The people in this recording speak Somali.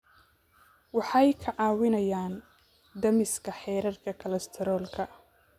Waxay kaa caawinayaan dhimista heerarka kolestaroolka.